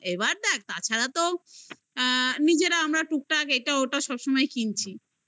এবার দেখ তাছাড়া তো আ নিজেরা আমরা টুকটাক এটা ওটা সবসময় কিনছি